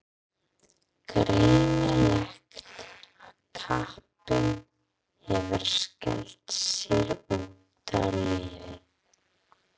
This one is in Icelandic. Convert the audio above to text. Greinilegt að kappinn hefur skellt sér út á lífið.